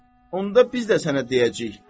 Onda biz də sənə deyəcəyik.